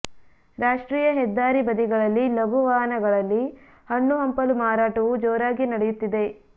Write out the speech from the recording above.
ರಾಷ್ಟ್ರೀಯ ಹೆದ್ದಾರಿ ಬದಿಗಳಲ್ಲಿ ಲಘು ವಾಹನಗಳಲ್ಲಿ ಹಣ್ಣು ಹಂಪಲು ಮಾರಾಟವೂ ಜೋರಾಗಿ ನಡೆಯುತ್ತಿದೆ